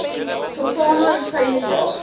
sultana rosyne jaar